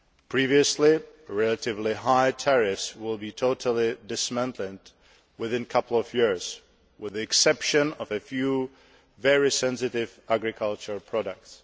Previously relatively high tariffs will be totally dismantled within a couple of years, with the exception of a few very sensitive agricultural products.